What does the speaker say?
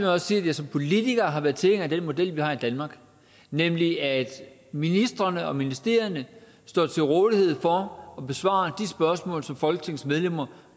også sige at jeg som politiker har været tilhænger af den model vi har i danmark nemlig at ministrene og ministerierne står til rådighed for at besvare de spørgsmål som folketingsmedlemmer